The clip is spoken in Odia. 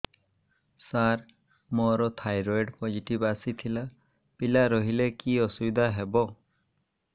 ସାର ମୋର ଥାଇରଏଡ଼ ପୋଜିଟିଭ ଆସିଥିଲା ପିଲା ରହିଲେ କି ଅସୁବିଧା ହେବ